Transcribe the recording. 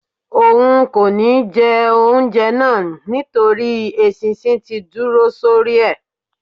òun kó ní jé oúnjẹ náa nítorí eṣinṣin tí dúró sórí e